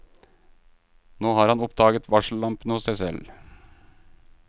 Nå har han oppdaget varsellampene hos seg selv.